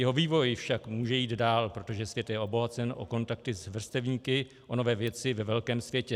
Jeho vývoj však může jít dál, protože svět je obohacen o kontakty s vrstevníky, o nové věci ve velkém světě.